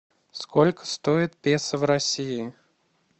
сколько стоит песо в россии